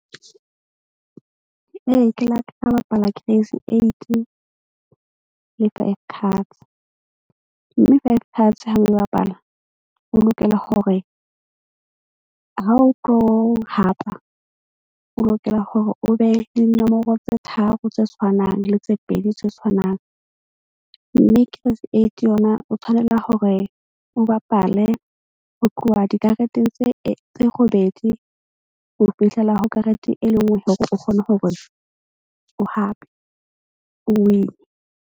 Ee, ke la ka bapala crazy eight le five cards mme five cards ha o e bapala. O lokela hore ha o tlo hapa, o lokela hore o be le dinomoro tse tharo tse tshwanang le tse pedi tse tshwanang. Mme crazy eight yona o tshwanela hore o bapale ho tloha dikareteng tse robedi ho fihlela ho karete e le nngwe hore o kgone hore o hape o win-e.